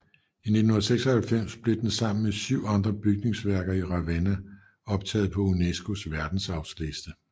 I 1996 blev den sammen med syv andre bygningsværker i Ravenna optaget på UNESCOs Verdensarvsliste